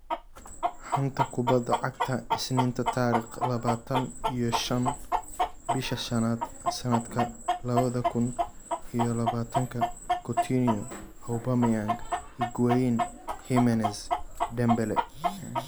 Xanta Kubadda Cagta Isniinta tariq labataaan iyo shaan bisha shaanad sanadka labada kun iyo labatanka Coutinho, Aubameyang, Higuain, Jimenez, Dembele